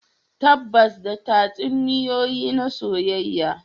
Tabbatar da tatsuniyoyi na soyayya